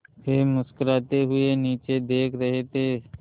वे मुस्कराते हुए नीचे देख रहे थे